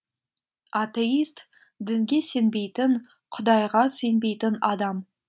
атеист дінге сенбейтін құдайға сенбейтін адам